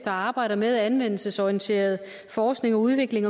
arbejder med anvendelsesorienteret forskning og udvikling